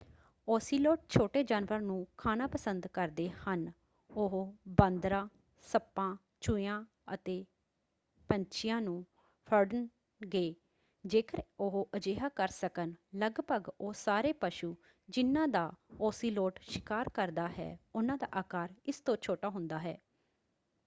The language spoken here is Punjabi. ਓਸੀਲੋਟ ਛੋਟੇ ਜਾਨਵਰਾਂ ਨੂੰ ਖਾਣਾ ਪਸੰਦ ਕਰਦੇ ਹਨ। ਉਹ ਬਾਂਦਰਾਂ ਸੱਪਾਂ ਚੂਹਿਆਂ ਅਤੇ ਪੰਛੀਆਂ ਨੂੰ ਫੜਣਗੇ ਜੇਕਰ ਉਹ ਅਜਿਹਾ ਕਰ ਸਕਣ। ਲਗਭਗ ਉਹ ਸਾਰੇ ਪਸ਼ੂ ਜਿਨ੍ਹਾਂ ਦਾ ਓਸੀਲੋਟ ਸ਼ਿਕਾਰ ਕਰਦਾ ਹੈ ਉਹਨਾਂ ਦਾ ਆਕਾਰ ਇਸ ਤੋਂ ਛੋਟਾ ਹੁੰਦਾ ਹੈ।